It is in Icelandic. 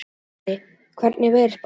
Sporði, hvernig er veðurspáin?